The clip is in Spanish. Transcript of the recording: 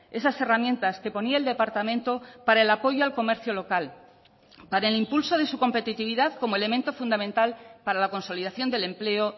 esas herramientas que ponía el departamento para el apoyo al comercio local para el impulso de su competitividad como elemento fundamental para la consolidación del empleo